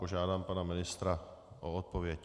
Požádám pana ministra o odpověď.